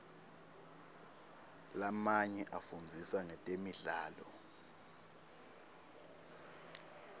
lamanye afundzisa ngetemidlalo